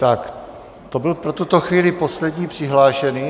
Tak, to byl pro tuto chvíli poslední přihlášený.